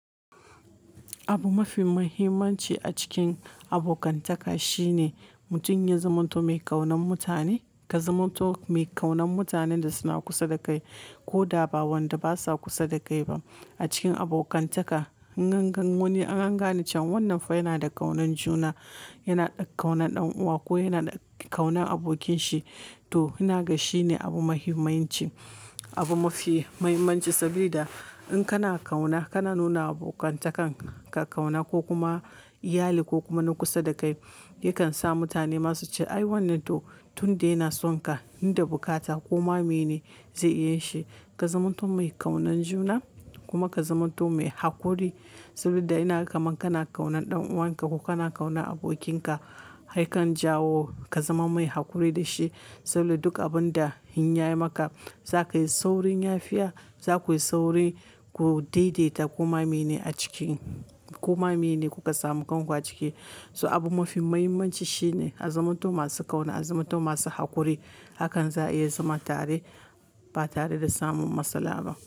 Abu mafi muhimmanci a cikin abokantaka shine mutum ya zamanto mai ƙaunan mutane, ka zamanto mai ƙaunan mutanen da suna kusa da kai ko da ba wanda basa kusa da kai ba. A cikin abokantaka, in an gane cewa wannan fa yana da kaunan juna, yana da ƙaunan ɗan uwa ko yana da ƙaunan abokinshi. To, ina ga shi ne abu mafi mahimmanci, abu mafi muhimmanci saboda in kana ƙauna, kana nuna abokantakan ka kauna ko kuma iyali ko kuma na kusa da kai, yakan sa mutane ma su ce "ai wannan to tun da yana son ka, inda bukata koma meye ne zai iya yinshi". Ka zamanto mai ƙaunan juna kuma ka zamanto mai haƙuri saboda inaga kaman kana ƙaunan ɗan uwan ka ko kana kauna abokinka, yakan jawo ka zama mai haƙuri da shi saboda duk abin da ya yi maka za ka yi saurin yafiya, za ku yi sauri ku daidaita koma meye ne a ciki, koma meye ne kuka samu kan ku aciki. So abu mafi muhimmanci shine a zamanto masu kauna, a zamanto masu haƙuri, hakan za a iya zama tare ba tare da samun matsala ba.